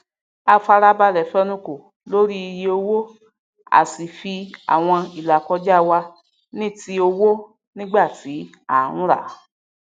a farabalẹ fẹnukò lórí iye owó asì fi àwọn ìlàkojá wà níti owó nígbà tí àń ràá